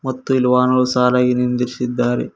ಮತ್ತು ಇಲ್ ವಾಹನಗಳನ್ನು ಸಾಲಾಗಿ ನಿಂದ್ರಿಸಿದ್ದಾರೆ.